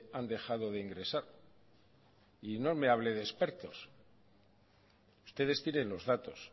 han dejado de ingresar y no me hable de expertos ustedes tienen los datos